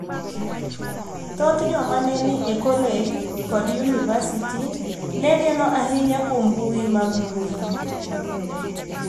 Thoth joma ne ni e kolej kod yunivasiti ne geno ahinya kuom mbui mag mbui.